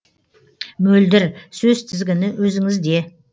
мөлдір сөз тізгіні өзіңізде